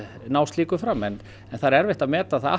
ná slíku fram en það er erfitt að meta það